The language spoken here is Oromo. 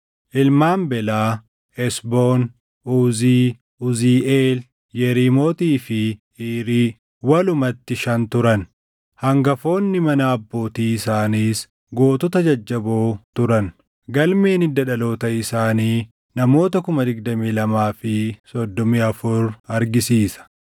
Ilmaan Belaa: Esboon, Uzii, Uziiʼeel, Yeriimootii fi Iirii walumatti shan turan; hangafoonni mana abbootii isaaniis gootota jajjaboo turan; galmeen hidda dhaloota isaanii namoota 22,034 argisiisa.